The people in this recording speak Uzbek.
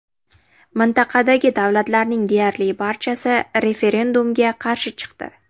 Mintaqadagi davlatlarning deyarli barchasi referendumga qarshi chiqdi.